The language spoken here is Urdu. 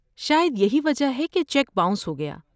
شاید یہی وجہ ہے کہ چیک باؤنس ہوگیا۔